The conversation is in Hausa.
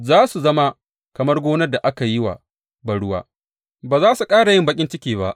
Za su zama kamar gonar da aka yi wa banruwa, ba za su ƙara yin baƙin ciki ba.